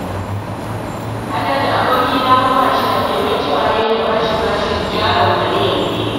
Haladu abokina fa ba shi da kai! Wai cewa ya yi na ba shi jarin miliyan biyu